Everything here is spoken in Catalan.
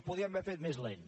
ho podien haver fet més lent